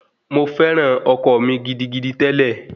Mo fẹ́ran ọkọ mi gidigidi tẹ́lẹ̀